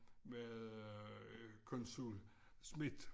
Var det øh konsul Schmidt